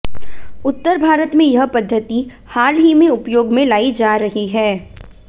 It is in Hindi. उत्तर भारत में यह पद्धति हाल ही में उपयोग में लाई जा रही है